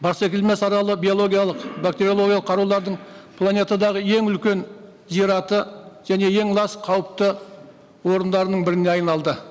барсакелмес аралы биологиялық бактериологиялық қарулардың планетадағы ең үлкен жер аты және ең лас қауіпті орындарының біріне айналды